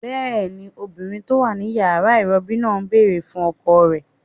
Bẹ́ẹ̀ni, obìnrin tó wà ní yàrá ìrọbí náà ń bèrè fún ọkọ rẹ̀